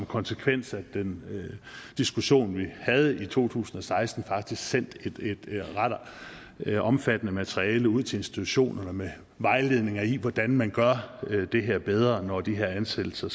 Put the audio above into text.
konsekvens af den diskussion vi havde i to tusind og seksten sendt et ret omfattende materiale ud til institutionerne med vejledninger i hvordan man gør det her bedre når de her ansættelser